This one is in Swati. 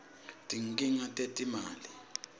tinkhinga tetimali